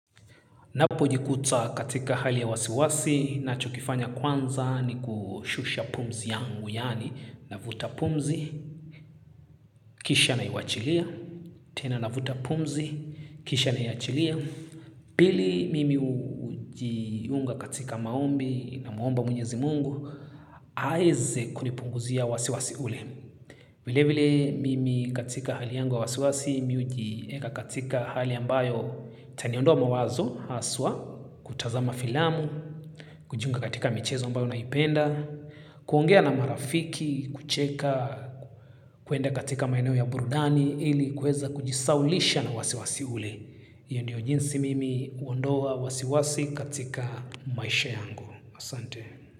Ninapojikuta katika hali ya wasiwasi nachokifanya kwanza ni kushusha pumzi yangu yani navuta pumzi, kisha naiwachilia, tena navuta pumzi, kisha naiachilia. Pili mimi ujiunga katika maombi namwomba mwenyezi mungu, aeze kunipunguzia wasiwasi ule. Vile vile mimi katika hali yangu wa wasiwasi, mi hujieka katika hali ambayo itaniondoa mawazo, haswa, kutazama filamu, kujiunga katika michezo ambayo naipenda, kuongea na marafiki, kucheka, kuenda katika maeneo ya burudani, ili kweza kujisaulisha na wasiwasi ule. Iyo ndio jinsi mimi uondoa wasiwasi katika maisha yangu. Asante.